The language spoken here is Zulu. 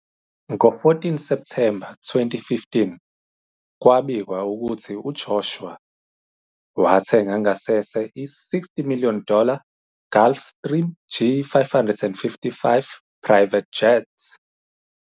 Ngo-14 Septhemba 2015, kwabikwa ukuthi uJoshua "wathenga ngasese i- 60 million dollar Gulfstream G550 Private Jet".